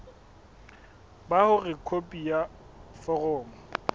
ba hore khopi ya foromo